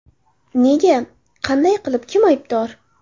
Nega, qanday qilib, kim aybdor?..